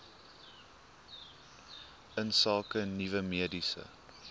insake nuwe mediese